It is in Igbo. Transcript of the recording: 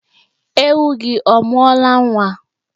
Ewu gị ọ mụọla nwa?